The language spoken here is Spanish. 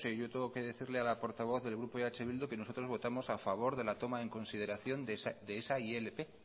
yo tengo que decirle a la portavoz del grupo eh bildu que nosotros votamos a favor de la toma en consideración de esa ilp